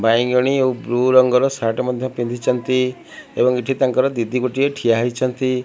ବାଇଗଣି ଆଉ ବ୍ଲୁ ରଙ୍ଗ ର ସାର୍ଟ ମଧ୍ୟ ପିନ୍ଧିଚନ୍ତି ଏବଂ ଏଠି ତାଙ୍କର ଦିଦି ଗୋଟିଏ ଠିଆ ହେଇଚନ୍ତି।